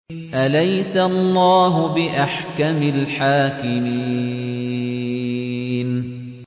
أَلَيْسَ اللَّهُ بِأَحْكَمِ الْحَاكِمِينَ